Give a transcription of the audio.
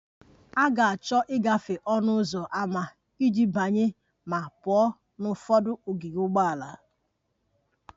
A ga-achọ ịgafe ọnụ ụzọ ámá iji banye ma pụọ na ụfọdụ ogige ụgbọala